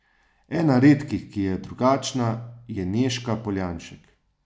Ena redkih, ki je drugačna, je Nežka Poljanšek.